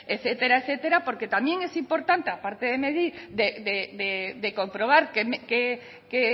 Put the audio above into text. etcétera etcétera porque también es importante aparte de medir de comprobar qué